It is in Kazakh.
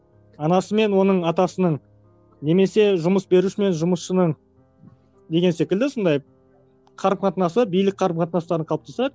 анасы мен оның атасының немесе жұмыс беруші мен жұмысшының деген секілді сондай қарым қатынасы билік қарым қатынастарын қалыптастырады